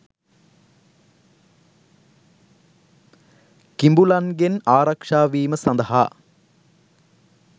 කිඹුලන්ගෙන් ආරක්ෂා වීම සඳහා